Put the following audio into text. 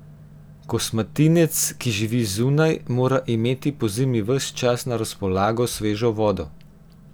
Kosmatinec, ki živi zunaj, mora imeti pozimi ves čas na razpolago svežo vodo.